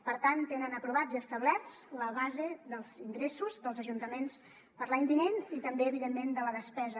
per tant tenen aprovats i establerts la base dels ingressos dels ajuntaments per a l’any vinent i també evidentment de la despesa